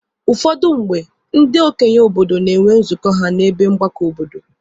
Ụfọdụ mgbe, ndị okenye obodo na-enwe nzukọ ha n'ebe mgbakọ obodo.